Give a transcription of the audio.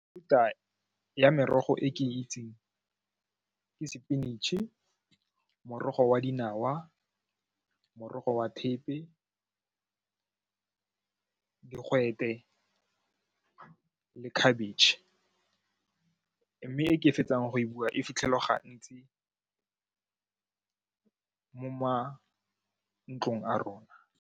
Mefuta ya merogo e ke itseng ke spinach-e, morogo wa dinawa, morogo wa thepe, digwete le khabetšhe mme e ke fetsang go e bua e fitlhelwa gantsi mo mantlong a rona.